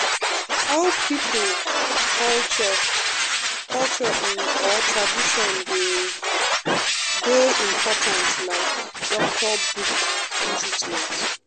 how people culture culture um or tradition dey um important like doctor book for treatment.